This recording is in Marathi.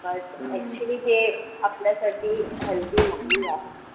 But actually ते आपल्यासाठी healthy नाही आहे,